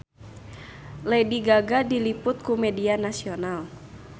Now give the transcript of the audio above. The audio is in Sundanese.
Lady Gaga diliput ku media nasional